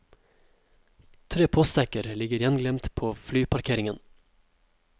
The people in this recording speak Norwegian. Tre postsekker ligger gjenglemt på flyparkeringen.